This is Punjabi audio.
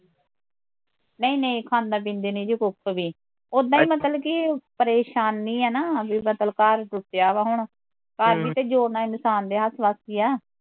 ਨਹੀਂ ਨਹੀਂ ਖਾਂਦਾ ਪੀਂਦਾ ਨੀ ਜੇ ਕੁੱਖ ਵੀ ਓਦਾ ਈ ਮਤਲਬ ਕੀ, ਪਰੇਸ਼ਾਨੀ ਐ ਨਾ ਮਤਲਬ ਵੀ ਘਰ ਟੁੱਟਿਆ ਵਾਂ ਹੁਣ ਘਰ ਵੀ ਤੇ ਜੋੜਨਾ ਇਨਸਾਨ ਦੇ ਹੱਥ ਵਸ ਈ ਐ